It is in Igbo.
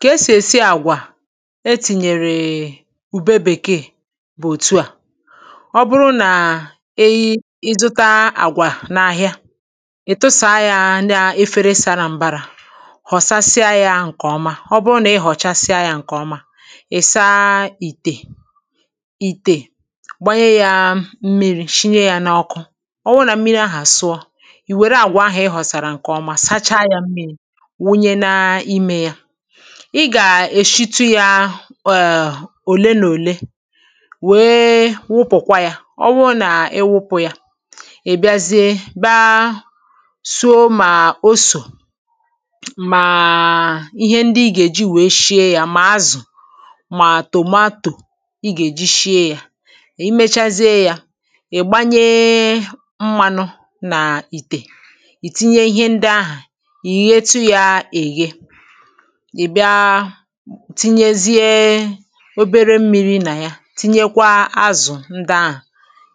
ka esì èsi àgwà e tìnyèrè è è ụ̀bẹ bèkee bụ òtu à ọ bụrụ nà ẹyị ịzụta àgwà n’ahịa ị tụsàa yȧ nà efere sàra m̀bara ghọ̀sasịa yȧ ǹkẹ̀ ọma ọ bụrụ nà ị ghọ̀chasịa yȧ ǹkẹ̀ ọma ị̀ saa ìtè ìtè gbanye yȧ mmiri̇ shinye yȧ n’ọkụ ọ wụ nà mmiri ahụ̀ sụọ ì wère àgwà ahụ̀ ị ghọ̀sàrà ǹkè ọma sacha yȧ mmiri̇ ị gà-èshetu yȧ ọ̀hà òle n’òle wèe wupụ̀kwa yȧ ọ wụ nà-ewupụ̀ yȧ ì bịazie baa soo mà o sò màa ihe ndị ị gà-èji wèe shie yȧ mà azụ̀ mà tòmatò ị gà-èji shie yȧ ì mechazie yȧ ị̀ gbanyee mmanụ nà ìtè ìtinye ihe ndị ahụ̀ ị̀ bịa tinyezie obere mmi̇ri̇ nà ya tinyekwa azụ̀ ǹde ahụ̀